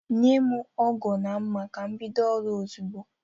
Nye m ọgu na mma ka m bido ọrụ ozugbo